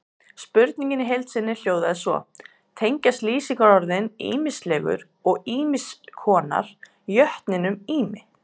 Spurningin í heild sinni hljóðaði svo: Tengjast lýsingarorðin ýmislegur og ýmiss konar jötninum Ými?